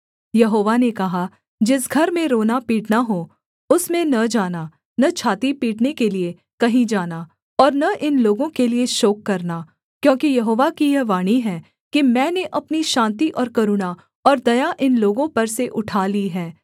यहोवा ने कहा जिस घर में रोना पीटना हो उसमें न जाना न छाती पीटने के लिये कहीं जाना और न इन लोगों के लिये शोक करना क्योंकि यहोवा की यह वाणी है कि मैंने अपनी शान्ति और करुणा और दया इन लोगों पर से उठा ली है